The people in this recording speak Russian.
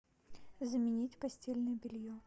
заменить постельное белье